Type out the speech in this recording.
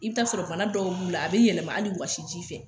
I bɛ taa sɔrɔ bana dɔw b'u la a bɛ yɛlɛma hali wɔsi ji fɛ